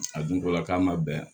A dun ko la k'a ma bɛn a